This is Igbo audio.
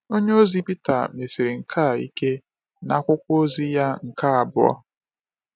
Onyeozi Peter mesiri nke a ike n’akwụkwọ ozi ya nke abụọ.